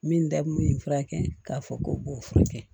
Min da kun bɛ nin furakɛ k'a fɔ k'o b'o furakɛ